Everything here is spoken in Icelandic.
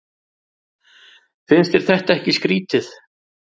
Finnst þér þetta ekki skrítið?